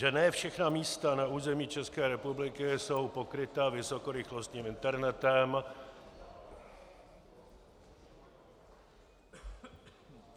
Že ne všechna místa na území České republiky jsou pokryta vysokorychlostním internetem...